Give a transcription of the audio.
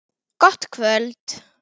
Gott kvöld!